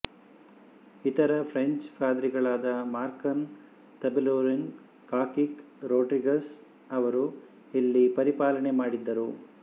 ಇತರ ಫ್ರೆಂಚ್ ಪಾದ್ರಿಗಳಾದ ಮಾರ್ಕನ್ ತಬೂರೆಲ್ ಕಾಕೀಟ್ ರೋಡ್ರಿಗಸ್ ಅವರೂ ಇಲ್ಲಿ ಪರಿಪಾಲನೆ ಮಾಡಿದರು